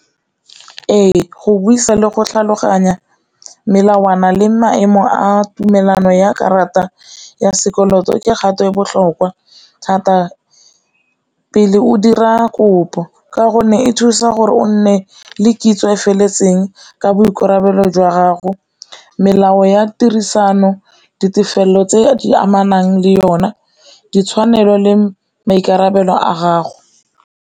Ee, go buisa le go tlhaloganya melawana le maemo a tumelano ya karata ya sekoloto ke kgato e botlhokwa thata pele o dira kopo, ka gonne e thusa gore o nne le kitso e feletseng ka boikarabelo jwa gago, melao ya tirisano, ditefelelo tse di amanang le yona, ditshwanelo le maikarabelo a gago.